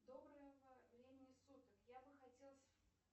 доброго времени суток я бы хотел